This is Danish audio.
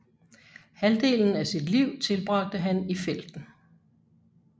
Halvdelen af sit liv tilbragte han i felten